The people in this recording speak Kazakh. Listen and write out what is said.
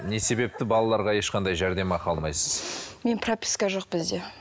не себепті балаларға ешқандай жәрдемақы алмайсыз мен прописка жоқ бізде